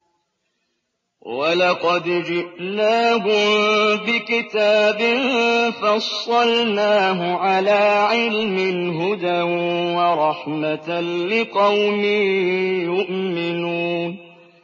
وَلَقَدْ جِئْنَاهُم بِكِتَابٍ فَصَّلْنَاهُ عَلَىٰ عِلْمٍ هُدًى وَرَحْمَةً لِّقَوْمٍ يُؤْمِنُونَ